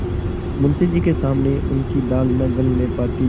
मुंशी जी के सामने उनकी दाल न गलने पाती